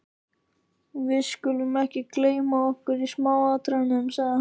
Við skulum ekki gleyma okkur í smáatriðunum sagði hann.